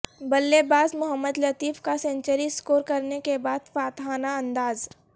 بلے باز محمد لطیف کا سنچری سکور کرنے کے بعد فاتحانہ انداز